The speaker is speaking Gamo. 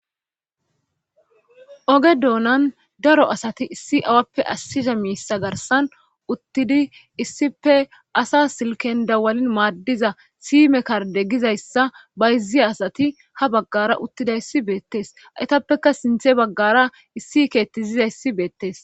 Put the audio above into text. oge doonan daro asati issi awappe assiza miissa garsan uttidi issife asa silken dawalin maaddiza siime karde gizayssa bayzzi asati ha baggara uttidayssi beettes aytappekka sinthe baggara issi keetti zizayssi beettes